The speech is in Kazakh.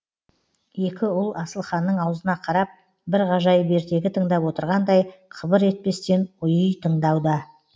екі ұл асылханның аузына қарап бір ғажайып ертегі тыңдап отырғандай қыбыр етпестен ұйый тыңдауда